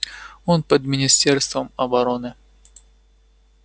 он под министерством обороны